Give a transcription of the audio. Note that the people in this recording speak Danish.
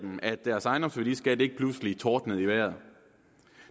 dem at deres ejendomsværdiskat ikke pludselig tordnede i vejret